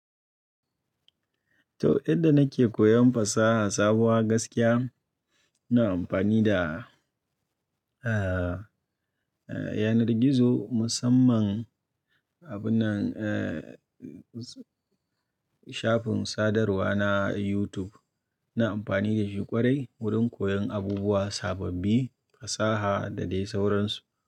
To, yadda nake koyon fasaha sabuwa gaskiya, ina amfani da, eh, yanar gizo musamman abunnan, eh, shafin sadarwa na YouTube. Ina amfani da shi ƙwarai wurin koyon abubuwa sababbi, fasaha da dai sauransu.